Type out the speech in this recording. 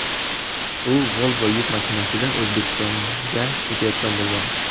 U Volvo yuk mashinasida O‘zbekistonga ketayotgan bo‘lgan.